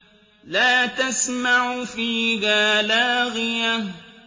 لَّا تَسْمَعُ فِيهَا لَاغِيَةً